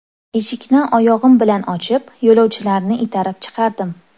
Eshikni oyog‘im bilan ochib, yo‘lovchilarni itarib chiqardim.